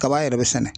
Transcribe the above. Kaba yɛrɛ bɛ sɛnɛ